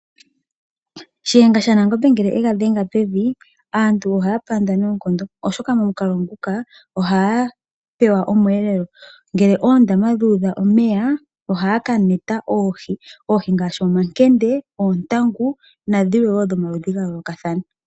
Shiyenga shaNangombe ngele ega dhenga pevi, aantu ohaya panda noonkondo oshoka momukalo nguka ohaya pewa omweelelo. Ngele oondama dhu udha omeya, ohaya ka neta oohi, oohi ngaashi omankende, oontangu, nadhilwe wo dhomaludhi ga yoolokathana.